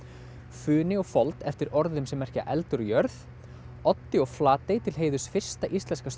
funi og fold eftir orðum sem merkja eldur og jörð Oddi og Flatey til heiðurs fyrsta íslenska